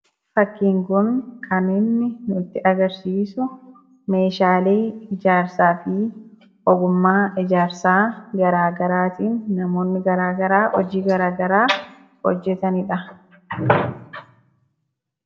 Fakkiin kun kan nutti agarsiisu meeshaalee ijaarsaa fi ogummaa ijaarsaa gara garaa tiin namoonni gara garaa hojii gara garaa kan ittin hojjetanidha.